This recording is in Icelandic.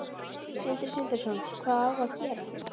Sindri Sindrason: Hvað á að gera?